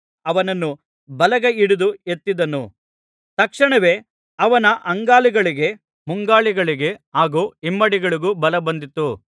ಅವನನ್ನು ಬಲಗೈಹಿಡಿದು ಎತ್ತಿದನು ತಕ್ಷಣವೇ ಅವನ ಅಂಗಾಲುಗಳಿಗೆ ಮುಂಗಾಲುಗಳಿಗೆ ಹಾಗು ಹಿಮ್ಮಡಿಗಳಿಗೂ ಬಲಬಂದಿತು